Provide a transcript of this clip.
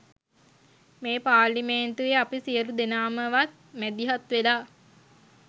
මේ පාර්ලිමේන්තුවේ අපි සියලු දෙනාමවත් මැදිහත් වෙලා